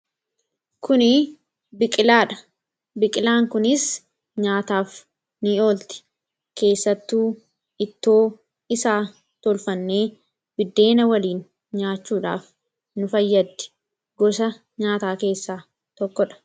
kuni biqilaan kunis nyaataaf ni olti keessattuu ittoo isaa tolfannee biddeena waliin nyaachuudhaaf nu fayyaddi gosa nyaataa keessaa tokko dha